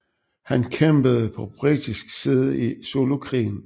Han kæmpede på britisk side i Zulukrigen